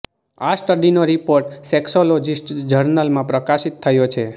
આ સ્ટડીનો report Sexologies જર્નલમાં પ્રકાશિત થયો છે